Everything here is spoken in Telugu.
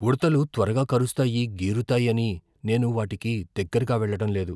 ఉడుతలు త్వరగా కరుస్తాయి, గీరుతాయని నేను వాటికి దగ్గరగా వెళ్ళడం లేదు .